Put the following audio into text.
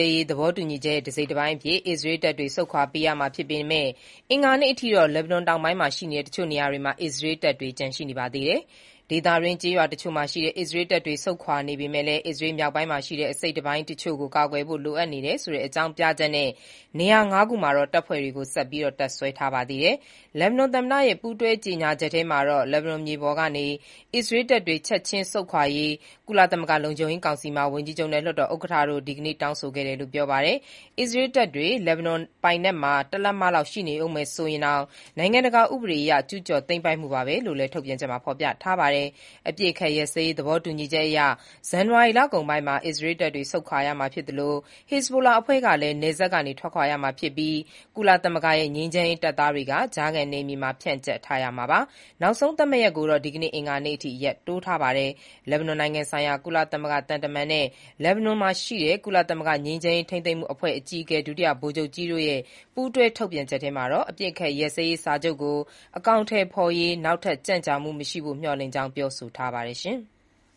ေး သဘောတူညီချက်ရဲ့ တစိတ်တပိုင်းအဖြစ် အစ္စရေးတပ်တွေ ဆုတ်ခွာပေးရမှာ ဖြစ်ပေမဲ့ အင်္ဂါနေ့အထိတော့ လက်ဘနွန်တောင်ပိုင်းရှိ တချို့နေရာတွေမှာ အစ္စရေးတပ်တွေ ကျန်ရှိနေ ပါသေးတယ်။ ဒေသတွင်းကျေးရွာတချို့မှာရှိတဲ့ အစ္စရေးတပ်တွေ ဆုတ်ခွာနေပေမဲ့လည်း အစ္စရေးမြောက်ပိုင်းရှိ အစိတ်အပိုင်းတချို့ကို ကာကွယ်ဖို့လိုအပ်တယ်ဆိုတဲ့အကြောင်းပြချက်နဲ့ နေရာ ၅ ခုမှာတော့ တပ်ဖွဲ့တွေကို ဆက်ပြီး တပ်စွဲထားပါသေးတယ်။ လက်ဘနွန်သမ္မတရဲ့ပူးတွဲကြေညာချက်ထဲမှာ လက်ဘနွန်မြေပေါ်ကနေ အစ္စရေးတပ်တွေ ချက်ခြင်း ဆုတ်ခွာရေး ကုလသမဂ္ဂလုံခြုံရေးကောင်စီမှာ ဝန်ကြီးချုပ်နှင့် လွှတ်တော်ဥက္ကဋ္ဌတို့က ဒီကနေ့ တောင်းဆိုခဲ့တယ်လို့ ပြောပါတယ်။အစ္စရေးတပ်တွေ လက်ဘနွန်ပိုင်နက်မှာ တလက်မလောက် ရှိနေဦး မယ် ဆိုရင်တောင် နိုင်ငံတကာဥပဒေအရ ကျူးကျော်သိမ်းပိုက်မှုပါပဲလို့လည်း ထုတ်ပြန်ချက်မှာ ဖော်ပြထားပါတယ်။ အပစ်အခတ်ရပ်စဲရေး သဘောတူညီချက်အရ ဇန်နဝါရီလကုန်ပိုင်းမှာ အစ္စရေးတပ်တွေ ဆုတ်ခွာရမှာ ဖြစ်သလို ဟက်ဇ်ဘိုလာအဖွဲ့ကလည်း နယ်စပ်ကနေ ထွက်ခွာရမှာဖြစ်ပြီး ကုလသမဂ္ဂရဲ့ ငြိမ်းချမ်းရေး တပ်သားတွေက ကြားခံနယ်မြေမှာ ဖြန့်ကျက်ထားရမှာပါ။ နောက်ဆုံးသတ်မှတ်ရက်ကိုတော့ ဒီကနေ့ အင်္ဂါနေ့အထိ ရက်တိုးထားပါတယ်။ လက်ဘနွန်နိုင်ငံဆိုင်ရာ ကုလသမဂ္ဂသံတမန် Jeanine Hennis-Plasschaert နဲ့ လက်ဘနွန်ရှိ ကုလသမဂ္ဂငြိမ်းချမ်းရေး ထိန်းသိမ်းမှုအဖွဲ့ အကြီးအကဲ ဒုတိယဗိုလ်ချုပ်ကြီး Aroldo Lázaro တို့ရဲ့ ပူးတွဲထုတ်ပြန်ချက်ထဲမှာတော့ အပစ်အခတ်ရပ်စဲရေး စာချုပ်ကို အကောင်အထည်ဖော်ရေး နောက်ထပ် ကြန့်ကြာမှု မရှိဖို့ မျှော်လင့်ကြောင်း ပြောဆိုထားပါတယ်။